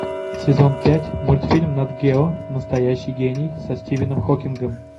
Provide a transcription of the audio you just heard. сезон пять мультфильм нат гео настоящий гений со стивеном хокингом